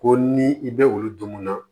Ko ni i bɛ olu dun na